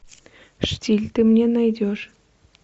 штиль ты мне найдешь